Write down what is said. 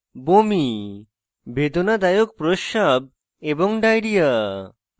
বমি বেদনাদায়ক প্রস্রাব এবং ডায়রিয়া